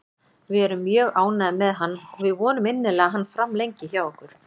Við erum mjög ánægðir með hann og við vonum innilega að hann framlengi hjá okkur.